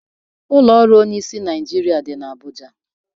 Ụlọ ọrụ onyeisiala Naịjirịa dị n'Abuja.